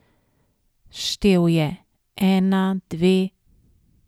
Štel je, ena, dve.